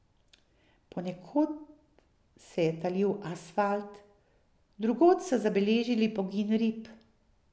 Ponekod se je talil asfalt, drugod so zabeležili pogin rib.